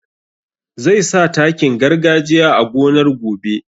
Zai sa takin gargajiya a gonar gobe